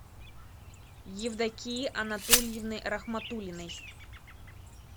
евдокии анатольевны рахматуллиной